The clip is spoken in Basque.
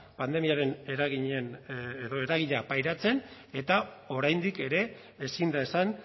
pandemiaren eragina pairatzen eta oraindik ere ezin da esan